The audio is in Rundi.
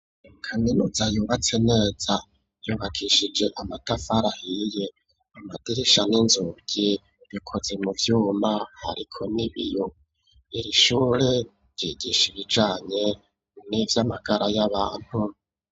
Kaminuza yubatse neza yubakishije amatafari ahiye, amadirisha n'inzugi bikoze mu vyuma hariko n'ibiyo. Iri shure ryigisha ibijanye nivy'amagara y'abantu.